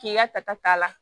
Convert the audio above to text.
K'i la tata la